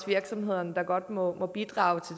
virksomhederne der godt må bidrage